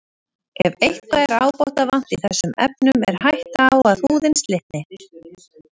Ef eitthvað er ábótavant í þessum efnum er hætta á að húðin slitni.